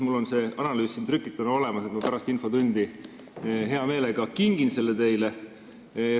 Mul on see analüüs siin trükituna olemas ja ma pärast infotundi hea meelega kingin selle teile.